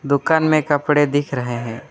दुकान में कपड़े दिख रहे हैं।